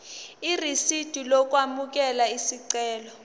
irisidi lokwamukela isicelo